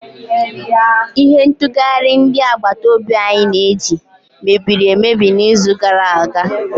Ihe ntụghari ndi agbata obi anyi na-eji mebiri emebi n'izu gara aga